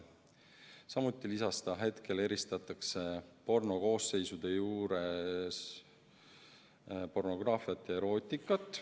Markus Kärner lisas, et praegu eristatakse pornokoosseisude sätetes pornograafiat ja erootikat.